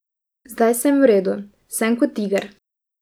Zdaj sem v redu, sem kot tiger.